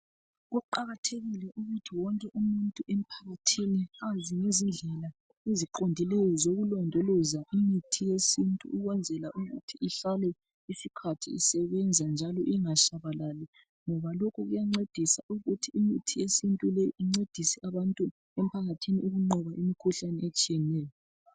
Kuqakathekile ukuthi wonke umuntu emphakathini azi ngezindlela eziqondileyo zokulondoloza imithi yesintu ukwenzela ukuthi ihlale isikhathi eside isebenza, ingatshabalali. Ngoba lokhu kuyancedisa ukuthi imithi yesintu le incedise abantu emphakathini ukunqoba imikhuhlane etshiyeneyo.